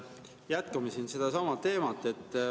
Jätkame sedasama teemat.